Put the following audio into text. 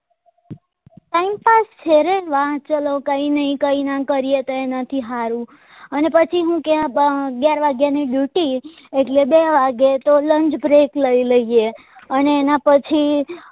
છે રે વા ચાલો કઈ નહિ કઈ નાં કરીએ તો એના થી હારું અને પછી હું કે વા અગિયાર વાગ્યા ની duty એટલે બે વાગે તો lunch break લઈ લઈએ અને એના પછી અ